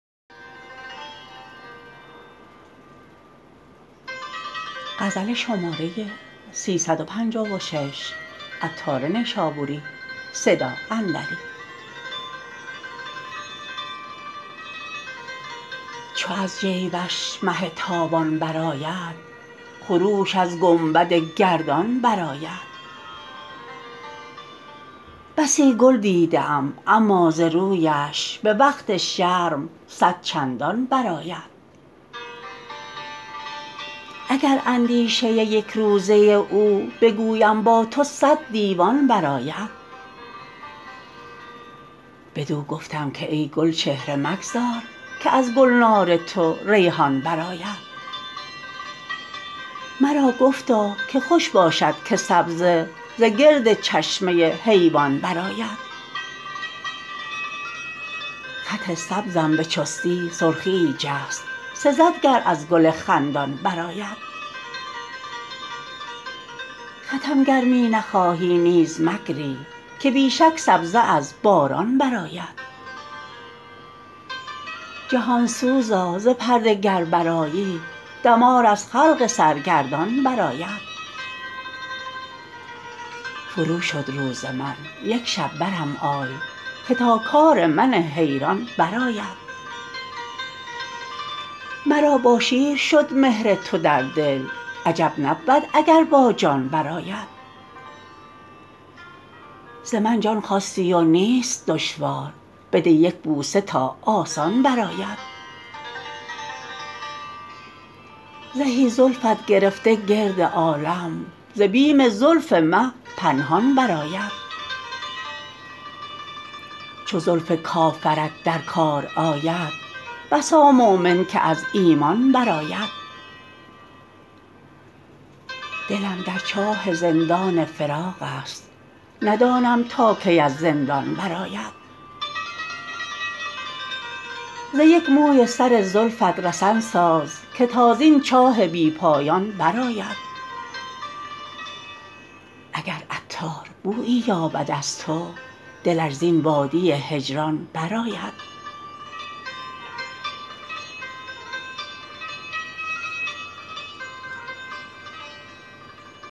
چو از جیبش مه تابان برآید خروش از گنبد گردان برآید بسی گل دیده ام اما ز رویش به وقت شرم صد چندان برآید اگر اندیشه یک روزه او بگویم با تو صد دیوان برآید بدو گفتم که ای گلچهره مگذار که از گلنار تو ریحان برآید مرا گفتا که خوش باشد که سبزه ز گرد چشمه حیوان برآید خط سبزم به چستی سرخییی جست سزد گر از گل خندان برآید خطم گر می نخواهی نیز مگری که بی شک سبزه از باران برآید جهان سوزا ز پرده گر برآیی دمار از خلق سرگردان برآید فرو شد روز من یک شب برم آی که تا کار من حیران برآید مرا با شیر شد مهر تو در دل عجب نبود اگر با جان برآید ز من جان خواستی و نیست دشوار بده یک بوسه تا آسان برآید زهی زلفت گرفته گرد عالم ز بیم زلف مه پنهان برآید چو زلف کافرت در کار آید بسا مؤمن که از ایمان برآید دلم در چاه زندان فراق است ندانم تا کی از زندان برآید ز یک موی سر زلفت رسن ساز که تا زین چاه بی پایان برآید اگر عطار بویی یابد از تو دلش زین وادی هجران برآید